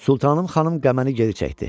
Sultanım xanım qəməni geri çəkdi.